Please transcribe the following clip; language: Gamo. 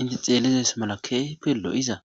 inte xeelizes mala keehipe lo7iza